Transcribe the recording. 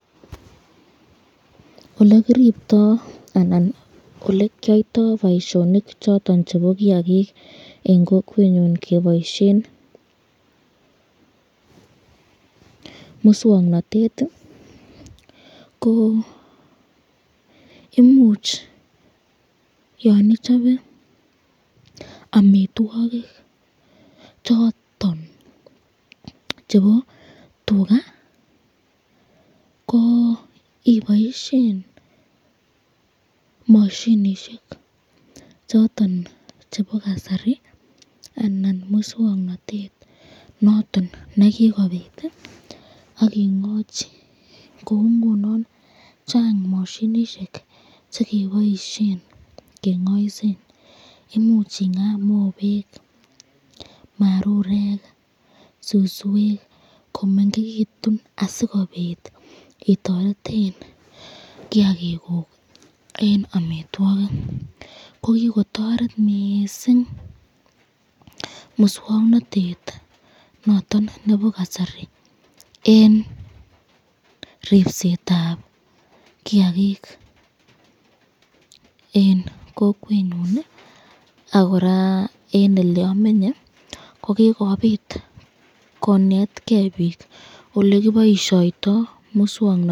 Olekiribto anan olekyoyto , boisyonik choton chebo kiakik eng kokwenyon keboisyen muswoknotet, ko imuch yon ichobe amitwokik choton chebo tuka ko iboishen mashinishek choton chebo kasari, anan muswoknotet noton nekikobit akingachi, kou ngunon Chang mashinishek chekiboisyen kengaisen , imuch inga mobek, marurek, suswek komengekitun asikobit itoreten kiakikuk eng amitwokik ,kokikotoreb mising muswoknotet noton nebo kasari eng ripsetab kiakik eng kokwenyon ak koraa eng ole amenye kokikobit koneteken bik olekiboisyoito muswoknotet.